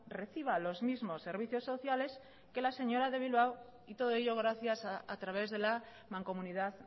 reciba los mismos servicios sociales que la señora de bilbao y todo ello gracias a través de la mancomunidad